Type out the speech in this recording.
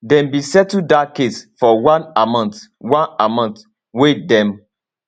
dem bin settle dat case for one amount one amount wey dem